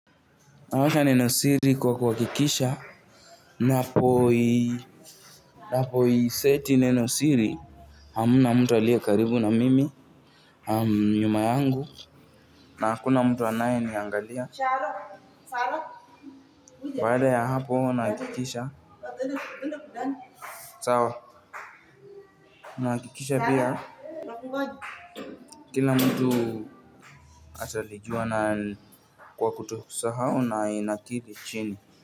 Naweka neno siri kwa kuhakikisha napoi napoiseti neno siri hamna mtu aliyekaribu na mimi nyuma yangu na hakuna mtu anayeniangalia baada ya hapo nahakikisha sawa. Nahakikisha bia kila mtu atalijua na kwa kutosahau na inakili chini.